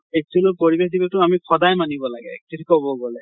actually পৰিবেশ দিৱস টো আমি সদায় মানিব লাগে actually কʼব গʼলে।